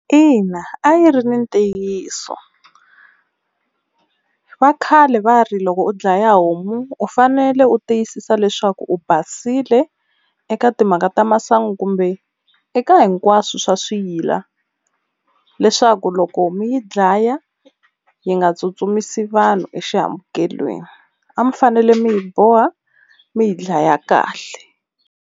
Ina a yi ri ni ntiyiso va khale va ri loko u dlaya homu u fanele u tiyisisa leswaku u basile eka timhaka ta masangu kumbe eka hinkwaswo swa swiyila leswaku loko mi yi dlaya yi nga tsutsumisi vanhu exihambukelweni, a mi fanele mi yi boha mi yi dlaya kahle.